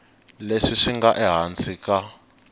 leswi swi nga ehansi ka